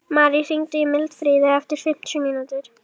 Marí, hringdu í Mildfríði eftir fimmtíu mínútur.